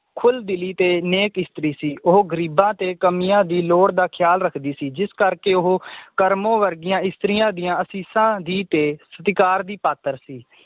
ਖੁਲਦਿਲੀ ਤੇ ਨੇਕ ਇਸਤਰੀ ਸੀ ਉਹ ਗਰੀਬਾਂ ਤੇ ਕਮੀਆਂ ਦੀ ਲੋੜ ਦਾ ਖਿਆਲ ਰੱਖਦੀ ਸੀ ਜਿਸ ਕਰਕੇ ਉਹ ਕਰਮੋ ਵਰਗੀਆਂ ਇਸਤਰੀਆਂ ਦੀਆਂ ਅਸੀਸਾਂ ਦੀ ਤੇ ਸਤਕਰ ਦੀ ਪਾਤਰ ਸੀ